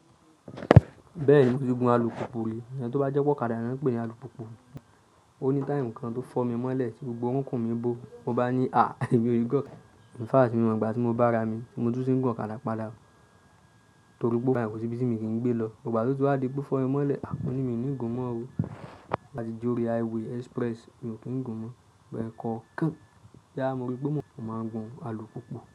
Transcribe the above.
Bẹ́ẹ̀ni mo ti gun alùpùpù rí, ẹni tó bá jẹ́ pé ó kadà ni wọ́n ń pè ní alùpùpù. Ó ní táìmù kan tó fọ́ mi mọ́lẹ̀ tí gbogbo orúnkún mi bó, mo bá ní à, èmi o ní g'ọ̀kadà. In fact, i ǹ mọ̀gbà tí mo bá ra mi, mo tún tí ń gun kadapa dá. Torí pé ó fàyè, kò sí ibi tí mo kì í gbé lọ. Ìgbà tí ó ti wá di pó fọ́ mi mọ́lẹ̀, hà mo ní, mi ò ní gùn ún mọ́ o. Báti j'óríi highway express, mi ò kì ń gùn ún mó. Ẹ̀ẹ̀kọ̀ọ̀kan, bóyá mo ríi pe mọ́, mo máa ń gun alùpùpù.